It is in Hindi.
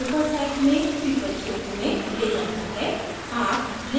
यह हमें हमारी drupal site में people क्षेत्र में ले जाता है